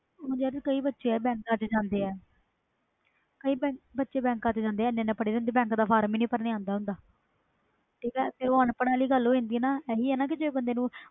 ਯਾਰ ਕਈ ਬੱਚੇ ਬੈਂਕਾਂ ਚ ਜਾਂਦੇ ਆ ਇਹਨਾਂ ਇਹਨਾਂ ਪੜ੍ਹੇ ਹੁੰਦੇ ਵ ਬੈਂਕ ਦਾ ਫਾਰਮ ਹੀ ਨਹੀਂ ਭਰ ਨਾ ਆਂਦਾ ਤੇ ਉਹ ਅਨਪੜਾਂ ਵਾਲੀ ਗੱਲ ਹੋ ਜਾਂਦੀ ਇਹੀ ਨਾ ਜੇ ਬੰਦੇ ਨੂੰ